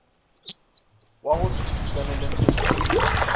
wa go se itekanele mmeleng